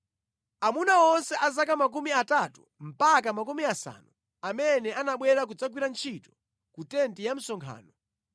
Aamuna onse a zaka makumi atatu mpaka makumi asanu amene anabwera kudzagwira ntchito ku tenti ya msonkhano,